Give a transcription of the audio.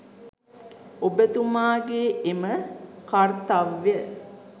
ඔබ තුමාගේ එම කර්තව්‍ය